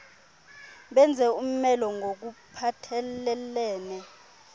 benze umelo ngokuphathelelene